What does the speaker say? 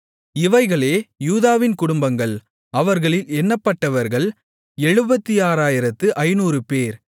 இவைகளே யூதாவின் குடும்பங்கள் அவர்களில் எண்ணப்பட்டவர்கள் 76500 பேர்